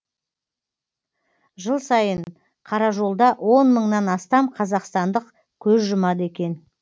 жыл сайын қаражолда он мыңнан астам қазақстандық көз жұмады екен